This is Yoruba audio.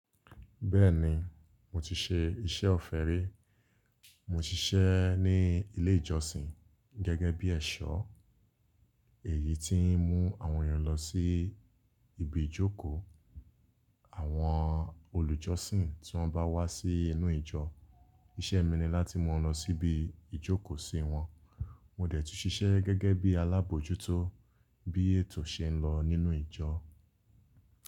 Bẹ́ẹ̀ni, mo ti ṣe iṣẹ́ ọ̀fẹ́ rí. Mo ṣiṣẹ́ ní ilé ìjọsìn gẹ́gẹ́ bí ẹ̀ṣọ́ èyí tí ń mú àwọn ènìyàn lọ sí ibi ìjókòó. Àwọn olùjọ́sìn tí wọ́n bá wá sí inú ìjọ, iṣẹ́ mi ni láti mú wọn lọ sí ibi ìjókòó sí wọn. Mo dẹ̀ tún ṣiṣẹ́ gẹ́gẹ́ bí alábòjútó bí ètò ṣe ń lọ nínú ìjọ.